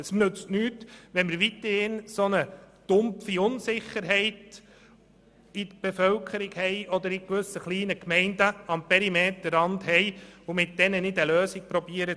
Es nützt nichts, wenn wir weiterhin eine dumpfe Unsicherheit in der Bevölkerung oder in gewissen kleinen Gemeinden am Peirmeterrand haben, ohne mit diesen eine Lösung zu suchen.